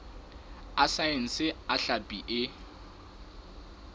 a saense a hlapi e